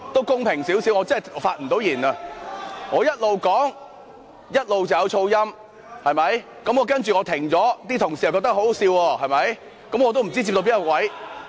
公平點，我真的不能發言，我邊說邊有噪音，然後我暫停，同事又覺得很可笑，我也不知道自己說到哪裏了。